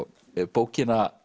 bókina